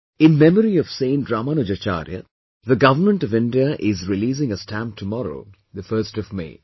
In memory of Saint Ramanujacharya, the government of India is releasing a stamp tomorrow, the 1st of May